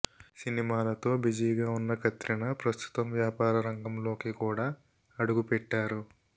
సినిమాలతో బిజీగా ఉన్న కత్రినా ప్రస్తుతం వ్యాపార రంగంలోకి కూడా అడుగుపెట్టారు